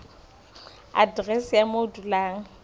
aterese ya moo o dulang